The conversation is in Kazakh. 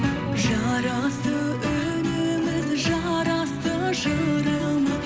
жарасты үніміз жарасты жырымыз